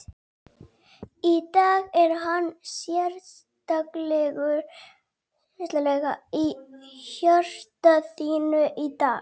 Í dag, er hann sérstaklega í hjarta þínu í dag?